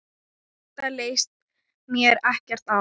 Þetta leist mér ekkert á.